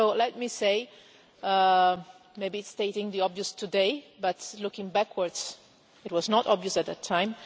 So let me say, maybe it's stating the obvious today, but looking backwards, it was not obvious at that time.